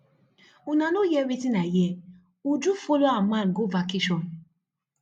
una no hear wetin i hear uju follow her man go vacation